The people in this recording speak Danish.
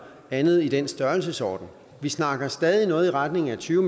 andet i den størrelsesorden vi snakker stadig noget i retning af tyve